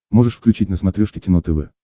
можешь включить на смотрешке кино тв